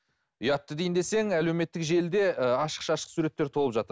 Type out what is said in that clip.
ұятты дейін десең әлеуметтік желіде і ашық шашық суреттер толып жатыр